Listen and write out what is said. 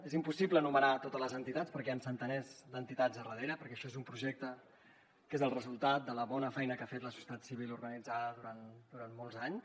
és impossible enumerar totes les entitats perquè hi han centenars d’entitats al darrere perquè això és un projecte que és el resultat de la bona feina que ha fet la societat civil organitzada durant molts anys